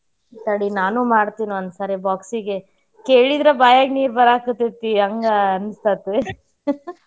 ತಡಿ ನಾನೂ ಮಾಡ್ತೇನಿ ಒಂದ್ಸಾರಿ box ಗೆ ಕೇಳೀದ್ರ ಬಾಯಾಗ ನೀರ್ ಬರಾಕತ್ತೈತಿ ಹಂಗ ಅನ್ಸಾತಿ .